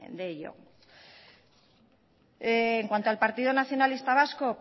de ello en cuanto al partido nacionalista vasco